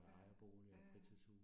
Ja, ja ja